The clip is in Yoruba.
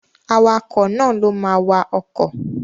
Awakọ̀ náà ló ma wa ọkọ̀